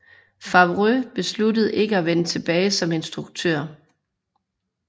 Favreau besluttede ikke at vende tilbage som instruktør